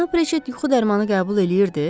Cənab Riçet yuxu dərmanı qəbul eləyirdi?